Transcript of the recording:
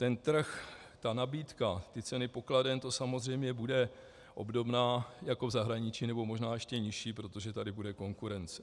Ten trh, ty nabídky, ty ceny pokladen, to samozřejmě bude obdobné jako v zahraničí, nebo možná ještě nižší, protože tady bude konkurence.